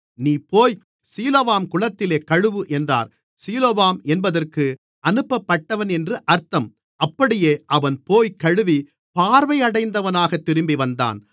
நீ போய் சீலோவாம் குளத்திலே கழுவு என்றார் சீலோவாம் என்பதற்கு அனுப்பப்பட்டவன் என்று அர்த்தம் அப்படியே அவன்போய்க் கழுவி பார்வை அடைந்தவனாக திரும்பி வந்தான்